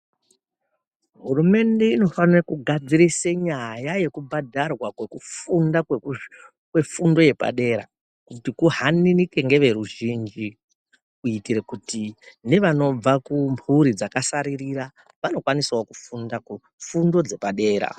Huremende inofanire kugadzirise nyaya yekubhadharwa kokufunda kwefundo yepadera kuti kuhanirike ngeveruzhinji kuitire kuti nevanobva kumhuri dzakasaririra vanokwanisawo kufunda fundo dzepadera.